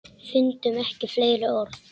Fundum ekki fleiri orð.